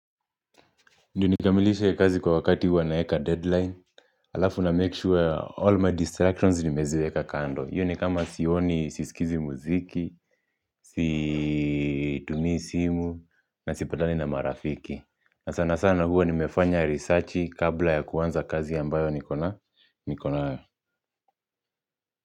Ndiyo nikamilishe kazi kwa wakati huwa naweka deadline alafu na make sure all my distractions nimeziweka kando iyo ni kama sioni sisikizi muziki situmii simu na sipatani na marafiki na sana sana huwa nimefanya research kabla ya kuanza kazi ambayo nikona nikonayo.